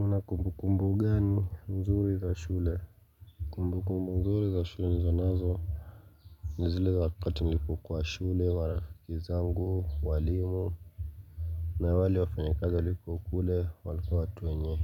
Una kumbu kumbu gani nzuri za shule Kumbu kumbu nzuri za shule nilizonazo ni zile za wakati nilipokuwa shule warafiki zangu walimu na wale wafanya kazi waliokuwa kule walikuwa watu wenye